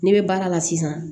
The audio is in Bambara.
Ne bɛ baara la sisan